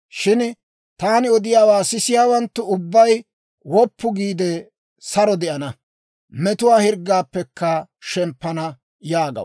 Shin taani odiyaawaa sisiyaawanttu ubbay woppu giide, saro de'ana; metuwaa hirggaappekka shemppana» yaagaw.